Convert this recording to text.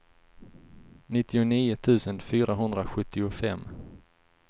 nittionio tusen fyrahundrasjuttiofem